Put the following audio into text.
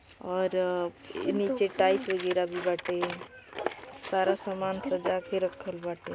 और अ इ नीचे टाइल्स वगैरा भी बाटे। सारा सामान सजा के रखल बाटे।